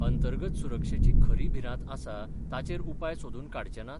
अंतर्गत सुरक्षेची खरी भिरांत आसा ताचेर उपाय सोदून काडचे नात?